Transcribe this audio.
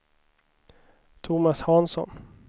Tomas Hansson